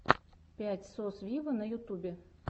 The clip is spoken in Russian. пять сос виво на ютубе